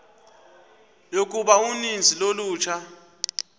yokuba uninzi lolutsha